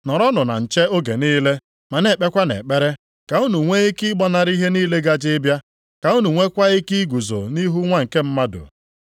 Nọrọnụ na nche oge niile ma na-ekpekwanụ ekpere ka unu nwee ike ịgbanarị ihe niile gaje ịbịa, ka unu nweekwa ike iguzo nʼihu Nwa nke Mmadụ.”